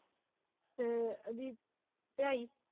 ਤੇ ਢਾਈ।